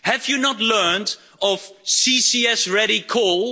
Have you not learnt of CCS ready coal?